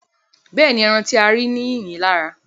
Bẹ́ẹ̀ni, ẹran tí a rí ní yìnyín lára